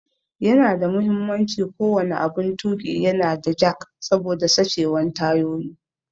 Yana da muhimmanci ko wani aɓun tuƙi ya na da jack saboda sachewan tayoyi.